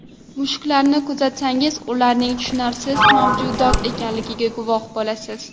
Mushuklarni kuzatsangiz ularning tushunarsiz mavjudot ekaniga guvoh bo‘lasiz.